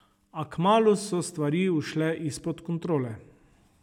A kmalu so stvari ušle izpod kontrole.